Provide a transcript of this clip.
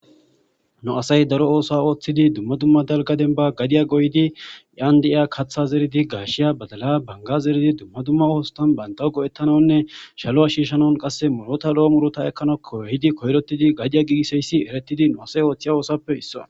Nu asay daro othuwa othid dumma dumma dalga demban gadiya goyd yan diya katha zerid gitiya ,gashiya, badala,baniga, dumma dumma osotan bantawu go'etanawunnine qase shaluwa shishanaw lo'o muruta ekanaw koyrotid gadiya gigisizays nu asay othiya othuwappe isuwa.